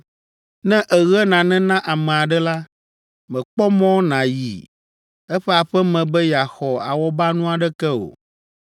“Ne èɣe nane na ame aɖe la, mèkpɔ mɔ nàyi eƒe aƒe me be yeaxɔ awɔbanu aɖeke o.